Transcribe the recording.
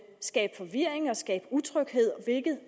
skabe forvirring og skabe utryghed hvilket